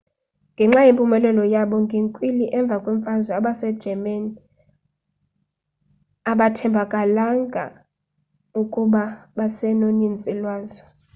ngenxa yempumelelo yabo ngenkwili emva kwemfazwe abase germans abathembakalanga ukuba basenonintsi lwazo